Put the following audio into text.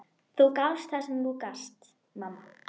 Gunndór, bókaðu hring í golf á föstudaginn.